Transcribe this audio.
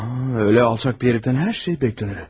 Elə alçaq bir hərifdən hər şey gözlənilir.